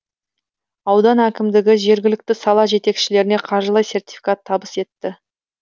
аудан әкімдігі жергілікті сала жетекшілеріне қаржылай сертификат табыс етті